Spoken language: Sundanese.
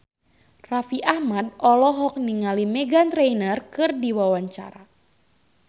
Raffi Ahmad olohok ningali Meghan Trainor keur diwawancara